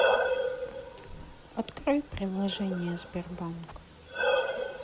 открой приложение сбербанк